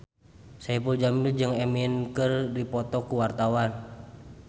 Saipul Jamil jeung Eminem keur dipoto ku wartawan